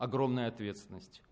огромная ответственность